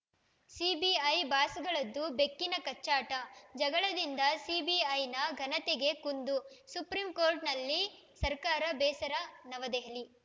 CBI ಬಾಸ್‌ಗಳದ್ದು ಬೆಕ್ಕಿನ ಕಚ್ಚಾಟ ಜಗಳದಿಂದ ಸಿಬಿಐನ ಘನತೆಗೆ ಕುಂದು ಸುಪ್ರೀಂಕೋರ್ಟ್‌ನಲ್ಲಿ ಸರ್ಕಾರ ಬೇಸರ ನವದೆಹಲಿ